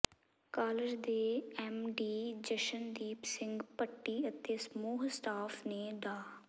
college ਦੇ MD Jashandeep Singh Bhatti ਅਤੇ ਸਮੂਹ ਸਟਾਫ ਨੇ ਡਾ